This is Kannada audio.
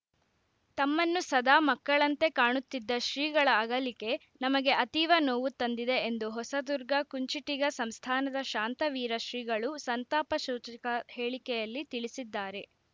ತಮ್ಮನ್ನು ಸದಾ ಮಕ್ಕಳಂತೆ ಕಾಣುತ್ತಿದ್ದ ಶ್ರೀಗಳ ಅಗಲಿಕೆ ನಮಗೆ ಅತೀವ ನೋವು ತಂದಿದೆ ಎಂದು ಹೊಸದುರ್ಗ ಕುಂಚಿಟಿಗ ಸಂಸ್ಥಾನದ ಶಾಂತವೀರ ಶ್ರೀಗಳು ಸಂತಾಪ ಸೂಚಕ ಹೇಳಿಕೆಯಲ್ಲಿ ತಿಳಿಸಿದ್ದಾರೆ